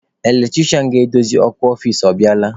Eletrisha ga-edozi ọkụ ọfici, ọ bịala?